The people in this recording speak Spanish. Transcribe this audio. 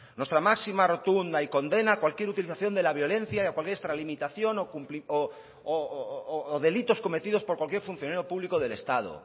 nuestra máxima rotunda y absoluta condena a cualquier utilización de la violencia y a cualquier extralimitación o delitos cometidos por cualquier funcionario público del estado